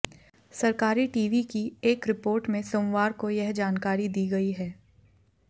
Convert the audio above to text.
सरकारी टीवी की एक रिपोर्ट में सोमवार को यह जानकारी दी गई है